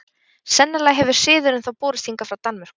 Sennilega hefur siðurinn þó borist hingað frá Danmörku.